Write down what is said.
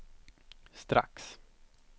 strax